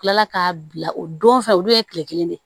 Kila k'a bila o don fɛn olu ye kile kelen de